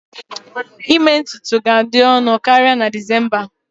Ime ntutu ga-adị ọnụ karịa na December